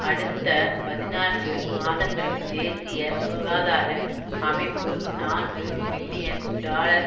அடுத்த பதினான்கு மாதங்களில் தேசிய சுகாதார அமைப்பு நான்கு பில்லியன் டாலர்